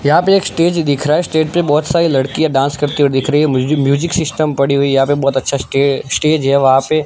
यहां पे एक स्टेज दिख रहा है स्टेज पे बहुत सारी लड़कियां डांस करती हुई दिख रही है म्यूजी म्यूजिक सिस्टम पड़ी हुई यहां पे बहुत अच्छा स्टे स्टेज है वहां पे--